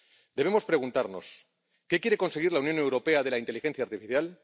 Debemos preguntarnos ¿Qué quiere conseguir la Unión Europea de la inteligencia artificial?